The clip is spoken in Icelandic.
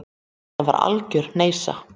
Þetta var algjör hneysa.